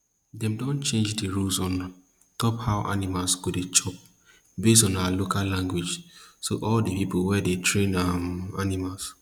dem don change di rules on top how animal go dey chop based on our local language so all di pipo wey dey train um animal